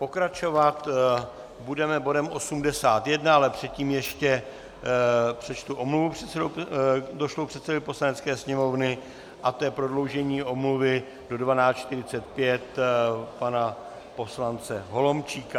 Pokračovat budeme bodem 81, ale předtím ještě přečtu omluvu došlou předsedovi Poslanecké sněmovny, a to je prodloužení omluvy do 12.45 pana poslance Holomčíka.